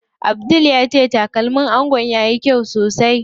Abdul ya ce takalmin angon yayi kyau sosai.